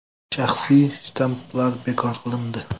Shaxsiy shtamplar bekor qilindi.